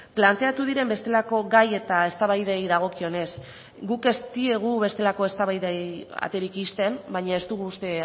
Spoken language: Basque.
planteatu diren bestelako gai eta eztabaidei dagokionez guk ez diegu bestelako eztabaidei aterik ixten baina ez dugu uste